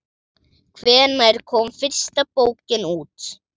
Hvenær kom fyrsta bókin út?